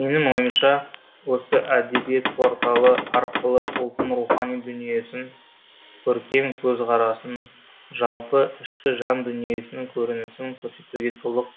менің ойымша осы әдебиет порталы арқылы ұлттың рухани дүниесін көркем көзқарасын жалпы ішкі жан дүниесінің көрінісін көрсетуге толық